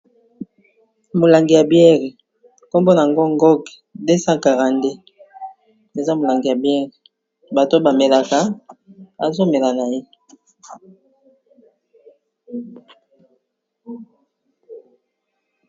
Molangi ya biere nkombo nango Ngok 242, eza molangi ya biere bato ba melaka azo mela na ye.